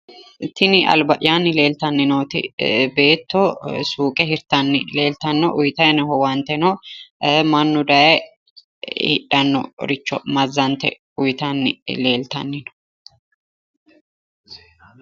Tini alba'yaanni leeltanni nooti beetto suuqe hirtanni leeltanno uyiitayi noo owaanteno mannu daye hidhannoricho mazzante uyiitanni leeltanni no